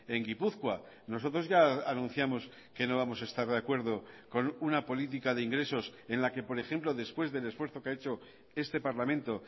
en gipuzkoa nosotros ya anunciamos que no vamos a estar de acuerdo con una política de ingresos en la que por ejemplo después del esfuerzo que ha hecho este parlamento